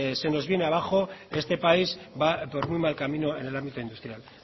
se nos viene abajo este país va por muy mal camino en el ámbito industrial